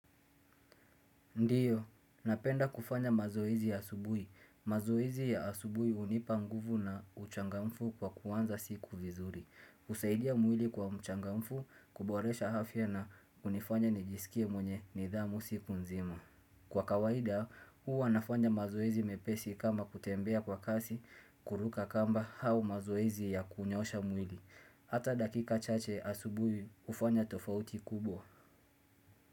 Ndiyo, napenda kufanya mazoezi asubuhi. Mazoezi ya asubuhi hunipa nguvu na uchangamfu kwa kuanza siku vizuri. Husaidia mwili kwa mchangamfu, kuboresha afya na hunifanya nijisikie mwenye nidhamu siku nzima. Kwa kawaida, huwa nafanya mazoezi mepesi kama kutembea kwa kasi, kuruka kamba hau mazoezi ya kunyosha mwili. Hata dakika chache asubuhi, hufanya tofauti kubwa.